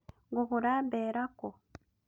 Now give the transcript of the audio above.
Ngũgũra mbeera kũũ?